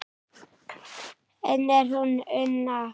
Enn er hún Una